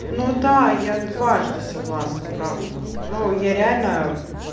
ну да я дважды согласна правда но я реально